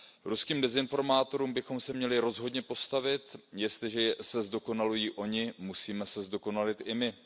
Ruským dezinformátorům bychom se měli rozhodně postavit, jestliže se zdokonalují oni, musíme se zdokonalit i my.